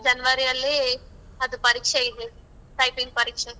ಜನವರಿಯಲ್ಲಿ ಅದು ಪರೀಕ್ಷೆ ಇದೆ. typing ಪರೀಕ್ಷೆ.